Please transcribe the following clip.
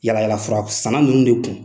Yalayalala fura sanna ninnu de kun